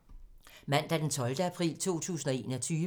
Mandag d. 12. april 2021